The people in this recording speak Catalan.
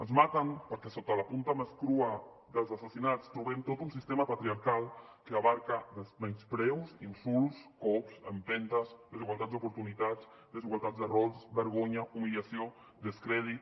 ens maten perquè sota la punta més crua dels assassinats trobem tot un sistema patriarcal que abraça menyspreus insults cops empentes desigualtats d’oportunitats desigualtats de rols vergonya humiliació descrèdit